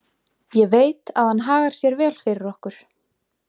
Ég veit að hann hagar sér vel fyrir okkur.